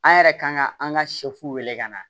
An yɛrɛ kan ka an ka wele ka na